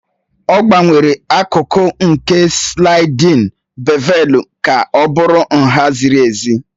Ọ gbanwere akụkụ nke slaịdin bevelu ka ọ bụrụ nha ziri ezi.